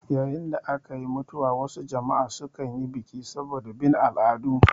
Yayin da akayi mutuwa wasu jama'a su kanyi biki saboda bin al'adu